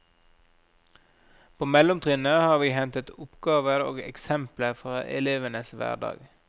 På mellomtrinnet har vi hentet oppgaver og eksempler fra elevenes hverdag.